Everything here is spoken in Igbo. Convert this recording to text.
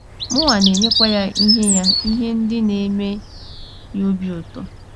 Mụnwa na - enyekwa ya ihe ya ihe ndị na - eme ya obi ụtọ.